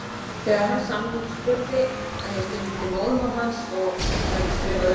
Þegar hann sannspurði að ég skildi móðurmál hans og hefði skrifað um